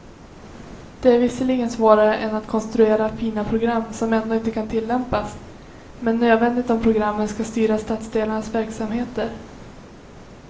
Det är visserligen svårare än att konstruera fina program som ändå inte kan tillämpas, men nödvändigt om programmen ska styra stadsdelarnas verksamheter.